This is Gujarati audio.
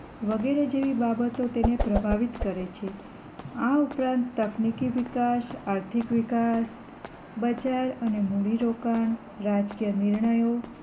વગેરે જેવી બાબતો તેને પ્રભાવિત કરે છે આ ઉપરાંત તકનીકી વિકાસ આર્થિક વિકાસ બજાર અને મૂડી રોકાણ, રાજકીય નિર્ણયો